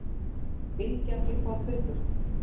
Bylgjan Uppáhaldsdrykkur?